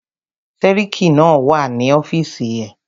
Sẹ́ríkí náà wà ní ọ́fìsì ẹ̀.